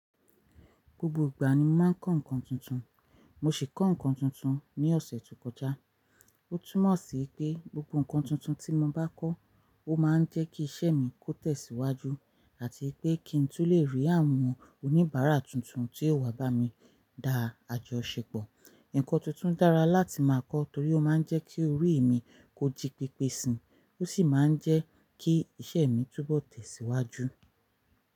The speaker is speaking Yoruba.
Gbogbo ìgbà ni mo máa ń kọ́ nǹkan tuntun. Mo sì kọ́ nǹkan tuntun ní ọ̀sẹ̀ tó kọjá. Ó túmọ̀ sí pé gbogbo nǹkan tuntun tí mo bá kọ́, ó máa ń jẹ́ kí iṣẹ́ mi kó tẹ̀síwájú àti pé kí n tú lè rí àwọn oníbàárà tuntun tí yóò wá bá mi dá àjọ ṣe pọ̀. Ǹǹkan tuntun dára láti máa kọ́ torí ó máa ń jẹ́ kí orí mi kó jí pèpèsi, ó sì máa ń jẹ́ kí iṣẹ́ mi túbọ̀ tẹ̀síwájú.